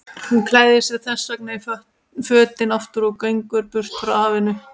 Hún klæðir sig þessvegna í fötin aftur og gengur burt frá hafinu.